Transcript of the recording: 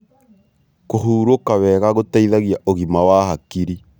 Kũhurũka wega gũteithagia ũgima wa hakiri